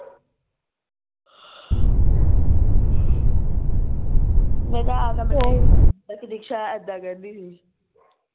ਮੈਂ ਕਿਹਾ ਆ ਕੇ ਦਿਕਸ਼ਾ ਇੱਦਾਂ ਕਹਿੰਦੀ ਸੀ